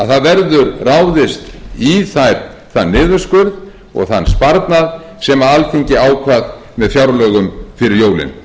það verður ráðist í þann niðurskurð og þann sparnað sem alþingi ákvað með fjárlögum fyrir jólin